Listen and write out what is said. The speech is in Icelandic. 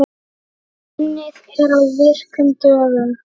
Unnið er á virkum dögum.